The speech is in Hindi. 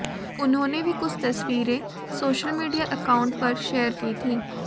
उन्होंने भी कुछ तस्वीरें सोशल मीडिया अकाउंट पर शेयर की थीं